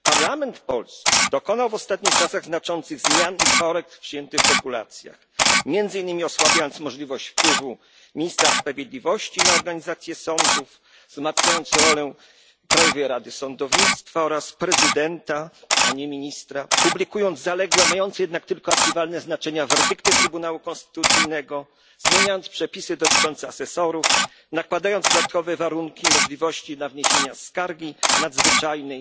Parlament polski dokonał w ostatnich czasach znaczących zmian i korekt w przyjętych regulacjach, między innymi osłabiając możliwość wpływu ministra sprawiedliwości na organizację sądów, wzmacniając rolę Krajowej Rady Sądownictwa oraz prezydenta, a nie ministra, publikując zaległe, mające jednak tylko archiwalne znaczenie, werdykty Trybunału Konstytucyjnego, zmieniając przepisy dotyczące asesorów, nakładając dodatkowe warunki na możliwość wniesienia skargi nadzwyczajnej,